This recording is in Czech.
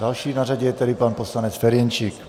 Další na řadě je tedy pan poslanec Ferjenčík.